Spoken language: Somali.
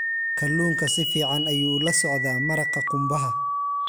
Kalluunka si fiican ayuu ula socdaa maraqa qumbaha.